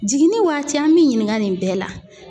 Jiginin waati an b'i ɲininka nin bɛɛ la.